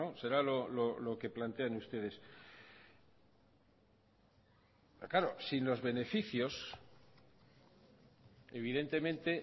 será lo que plantean ustedes claro sin los beneficios evidentemente